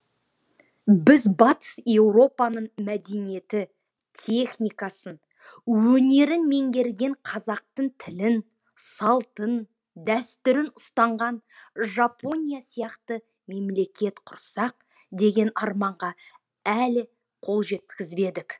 біз батыс еуропаның мәдениеті техникасын өнерін меңгерген қазақтың тілін салтын дәстүрін ұстанған жапония сияқты мемлекет құрсақ деген арманға әлі қол жеткізбедік